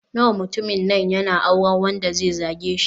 Nawa mutumin nan yana auren wanda zai zage shi.